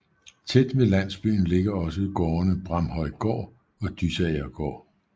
Tæt ved landsbyen ligger også gårdene Bramhøjgård og Dysagergård